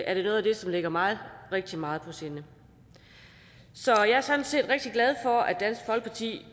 er det noget af det som ligger mig rigtig meget på sinde så jeg er sådan set rigtig glad for at dansk folkeparti